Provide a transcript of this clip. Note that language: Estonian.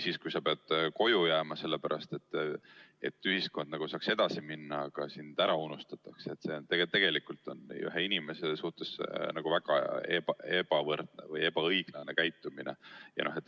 Kui sa pead koju jääma selle pärast, et ühiskond saaks edasi minna, aga sind unustatakse ära – see on tegelikult ühe inimese suhtes väga ebaõiglane käitumine.